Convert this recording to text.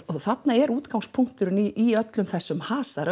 þarna er útgangspunkturinn í öllum þessum hasar